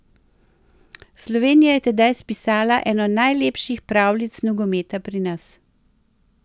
Slovenija je tedaj spisala eno najlepših pravljic nogometa pri nas.